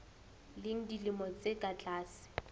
leng dilemo tse ka tlase